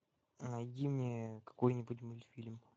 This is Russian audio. найди мне какой нибудь мультфильм